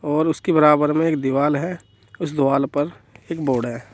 और उसकी बराबर में एक दीवाल है। उस दीवाल पर एक बोर्ड है।